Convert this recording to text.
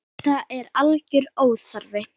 Þetta er algjör óþarfi.